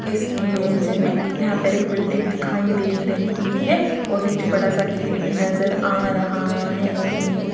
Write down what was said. इस इमेज में यहां पर एक बिल्डिंग दिखाई दे रही है और नीचे बड़ा सा गेट भी नजर आ रहा है।